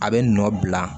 A bɛ nɔ bila